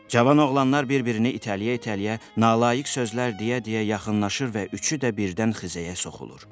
Cavan oğlanlar bir-birini itələyə-itələyə nalayiq sözlər deyə-deyə yaxınlaşır və üçü də birdən Xizəyə soxulur.